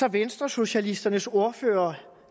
at venstresocialisternes ordfører